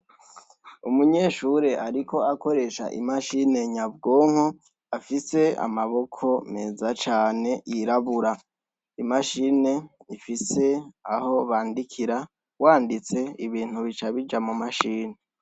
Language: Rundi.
Umunyeshure ariko akoresha imashine nyabwonko afise amaboko meza cane yirabura. Imashine ifise aho bandikira, wanditse ibintu bica bija mu mashine.